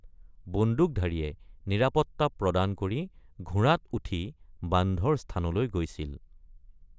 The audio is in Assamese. বন্দুকধাৰীয়ে নিৰাপত্তা প্ৰদান কৰি ঘোঁৰাত উঠি বান্ধৰ স্থানলৈ গৈছিল।